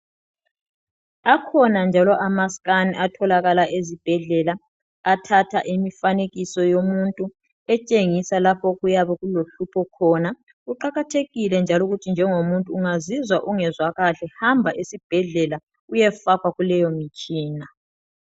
Akhona njalo ama scan atholakala ezibhedlela athatha imifanekiso yomuntu etshengisa lapho okuyabe kulo hlupho khona. Kuqakathekile njalo njengo muntu ungazizwa ungezwa kahle hamba esibhedlela uyefakwa kuleyo mtshina.